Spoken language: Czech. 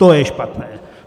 To je špatné.